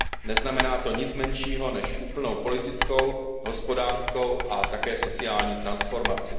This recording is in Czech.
Neznamená to nic menšího než úplnou politickou, hospodářskou a také sociální transformaci.